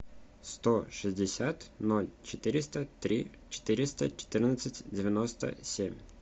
сто шестьдесят ноль четыреста три четыреста четырнадцать девяносто семь